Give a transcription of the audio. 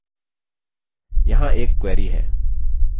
यहाँ एक query है: